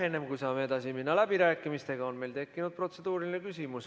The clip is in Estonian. Enne, kui saame edasi minna läbirääkimistega, on meil tekkinud protseduuriline küsimus.